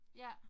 Ja